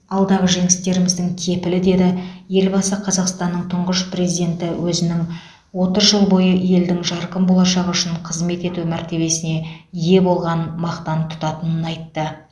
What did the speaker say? алдағы жеңістеріміздің кепілі деді елбасы қазақстанның тұңғыш президенті өзінің отыз жыл бойы елдің жарқын болашағы үшін қызмет ету мәртебесіне ие болғанын мақтан тұтатынын айтты